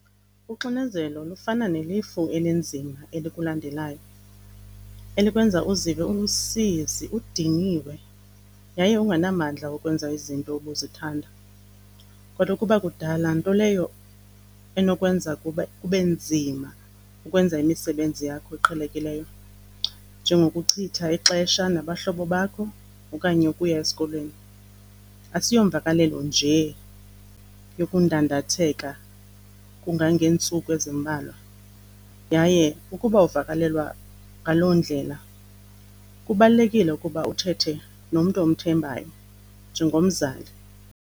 Uxinzelelo lufana nelifu elinzima elikulandelayo elikwenza uzive ulusizi udiniwe yaye ungenamandla okwenza izinto obuzithanda. Kaloku uba kudala, nto leyo enokwenza kube nzima ukwenza imisebenzi yakho eqhelekileyo njengokuchitha ixesha nabahlobo bakho okanye ukuya esikolweni. Asiyomvakalelo nje yokundandatheka kungangeentsuku ezimbalwa yaye ukuba uvakalelwa ngaloo ndlela, kubalulekile ukuba uthethe nomntu omthembayo njengomzali.